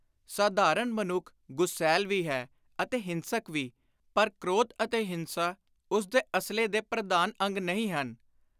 ਸਾਧਾਰਣ ਮਨੁੱਖ ਗੁਸੈਲ ਵੀ ਹੈ ਅਤੇ ਹਿੰਸਕ ਵੀ, ਪਰ ਕ੍ਰੋਧ ਅਤੇ ਹਿੰਸਾ ਉਸ ਦੇ ਅਸਲੇ ਦੇ ਪ੍ਰਧਾਨ ਅੰਗ ਨਹੀਂ ਹਨ।